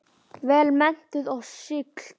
Vel menntuð og sigld.